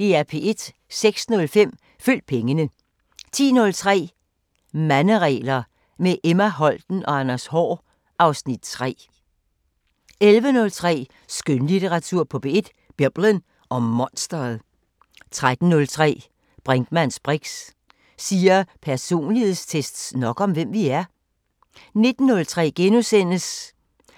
06:05: Følg pengene 10:03: Manderegler – med Emma Holten og Anders Haahr (Afs. 3) 11:03: Skønlitteratur på P1: Biblen og monstret 13:03: Brinkmanns briks: Siger personlighedstests nok om, hvem vi er? 19:03: